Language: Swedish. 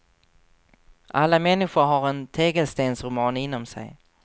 Alla människor har en tegelstensroman inom sig.